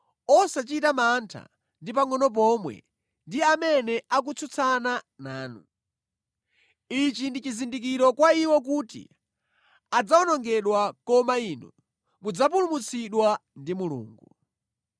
osachita mantha ndi pangʼono pomwe ndi amene akutsutsana nanu. Ichi ndi chizindikiro kwa iwo kuti adzawonongedwa, koma inu mudzapulumutsidwa ndi Mulungu.